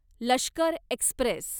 Lashkar Express